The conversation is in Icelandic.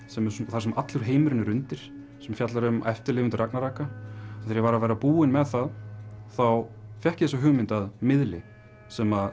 þar sem allur heimurinn er undir sem fjallar um eftirlifendur ragnaraka þegar ég var að verða búinn með það þá fékk ég þessa hugmynd að miðli sem